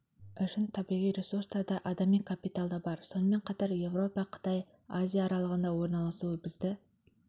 үшін табиғи ресурстар да адами капиталда бар сонымен қатар еуропа қытай азия аралығында орналасуы бізді